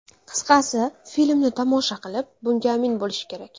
Qisqasi, filmni tomosha qilib, bunga amin bo‘lish kerak.